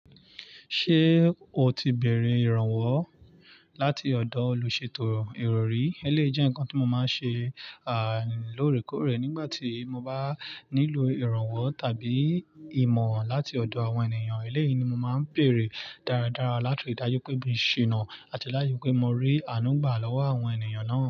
Ṣé o ti bẹ̀rẹ̀ ìrànwọ́ láti ọ̀dọ̀ olùṣètò ìrọ̀rí? Eléyìí jẹ́ ǹkan tí mo máa ń ṣe, à, lóòrèkóòrè nígbà tí mo bá nílò ìrànwọ́ tàbí ìmọ̀ràn láti ọ̀dọ̀ àwọn ènìyàn. Eléyìí ni mo máa ń béèrè dáradára láti ri dájú pé mi ò ṣiná àti láti ri pé mo rí ànú gbà lọ́wọ́ àwọn ènìyàn náà.